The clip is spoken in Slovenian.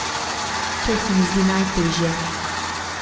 To se mi zdi najtežje.